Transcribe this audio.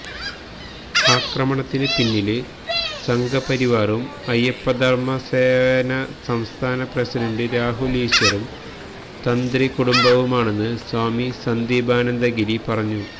ആക്രമണത്തിന് പിന്നില് സംഘപരിവാറും അയ്യപ്പധര്മസേന സംസ്ഥാന പ്രസിഡന്റ് രാഹുല് ഈശ്വറും തന്ത്രി കുടുംബവുമാണെന്ന് സ്വാമി സന്ദീപാനന്ദ ഗിരി പറഞ്ഞു